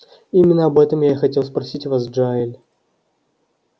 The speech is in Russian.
именно об этом я и хотел спросить вас джаэль